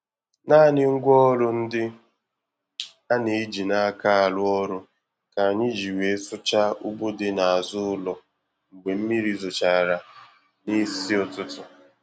Naanị ngwaọrụ ndị a na-eji n'aka arụ ọrụ ka anyị ji wee sụchaa ugbo dị n'azụ ụlọ mgbe mmiri zochara nisi ụtụtụ.